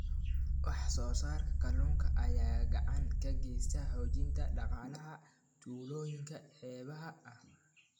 Wax soo saarka kalluunka ayaa gacan ka geysta xoojinta dhaqaalaha tuulooyinka xeebaha ah.